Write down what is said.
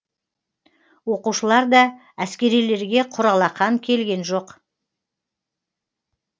оқушылар да әскерилерге құр алақан келген жоқ